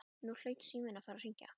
Nú hlaut síminn að fara að hringja.